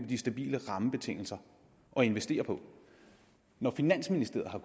de stabile rammebetingelser at investere på når finansministeriet har